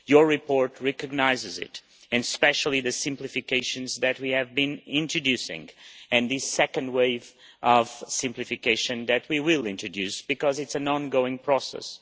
Your report recognises this, and especially the simplifications that we have been introducing and the second wave of simplification that we will introduce because it is an ongoing process.